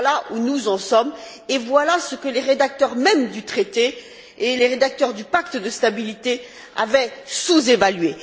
Voilà où nous en sommes et voilà ce que les rédacteurs mêmes du Traité et les rédacteurs du pacte de stabilité avaient sous évalué.